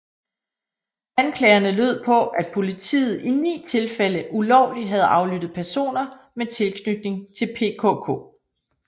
Anklagerne lød på at politiet i ni tilfælde ulovligt havde aflyttet personer med tilknytning til PKK